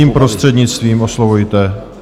Mým prostřednictvím oslovujte.